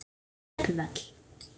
Við klöppum öll.